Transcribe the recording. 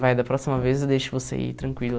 Vai, da próxima vez eu deixo você ir, tranquilo.